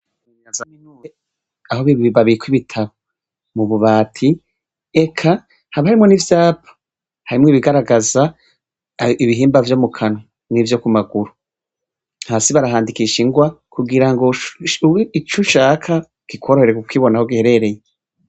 Aho babika ibitabo ,mumubati eka haba harimwo n'ivyapa, harimwo ibigaragaza ibihimba vyo mukanwa, nivyo kumaguru, hasi barahandikisha ingwa, kugirango ico ushaka kikworohere kubona aho giherereye.